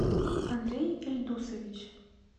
андрей ильдусович